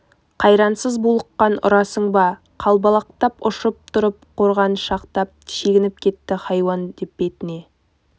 қайрансыз булыққан ұрасың ба қалбалақтап ұшып тұрып қорғаншақтап шегініп кетті хайуан деп бетіне